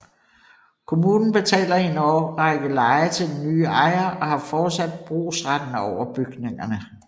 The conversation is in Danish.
Kommunen betaler i en årrække leje til den nye ejer og har fortsat brugsretten over bygningerne